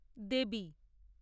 দেবী